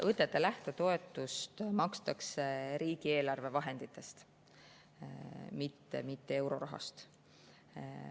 Õdede lähtetoetust makstakse riigieelarve vahenditest, mitte eurorahast.